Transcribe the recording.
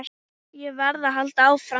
Ég varð að halda áfram.